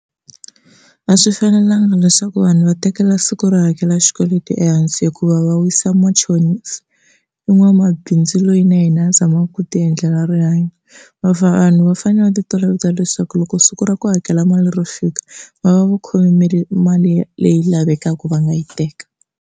A swi fanelanga leswaku vanhu va tekela siku ro hakela xikweleti ehansi hikuva va wisa machonisi, i n'wamabindzu loyi na yena a zamaka ku ti endlela rihanyo, vanhu va fanele va ti toloveta leswaku loko siku ra ku hakela mali ri fika va va va khome mali mali leyi lavekaka va nga yi teka.